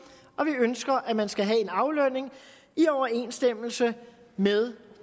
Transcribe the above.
og vi ønsker at man skal have en aflønning i overensstemmelse med